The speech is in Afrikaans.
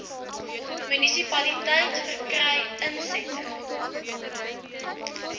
munisipaliteit verkry insette